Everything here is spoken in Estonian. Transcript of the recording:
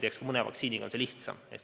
Eks mõne vaktsiiniga on see lihtsam.